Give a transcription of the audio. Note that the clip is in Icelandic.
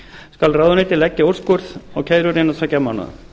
skal ráðuneytið leggja úrskurð á kærur innan tveggja mánaða